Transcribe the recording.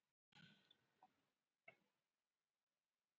Flest gæti ég þó fyrirgefið mér, ef ég hefði ekki leikið